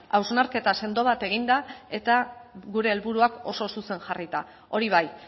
hausnarketa sendo bat egin da eta gure helburuak oso zuzen jarrita hori bai